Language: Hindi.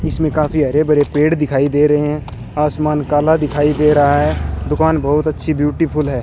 इसमें काफी हरे भरे पेड़ दिखाई दे रहे हैं आसमान काला दिखाई दे रहा है दुकान बहुत अच्छी ब्यूटीफुल है।